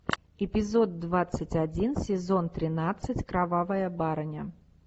эпизод двадцать один сезон тринадцать кровавая барыня